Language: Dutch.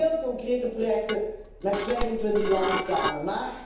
Heel concrete projecten met 25 landen samen.